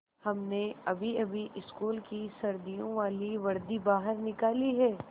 हमने अभीअभी स्कूल की सर्दियों वाली वर्दी बाहर निकाली है